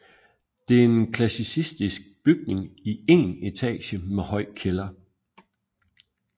Det er en klassicistisk bygning i én etage med høj kælder